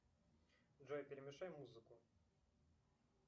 джой перемешай музыку